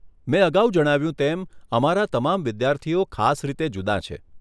મેં અગાઉ જણાવ્યું તેમ, અમારા તમામ વિદ્યાર્થીઓ ખાસ રીતે જુદાં છે.